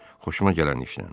Xoşuma gələn işdən.